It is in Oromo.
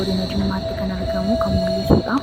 godina jimmaatti kan argamu kan mul'isuudha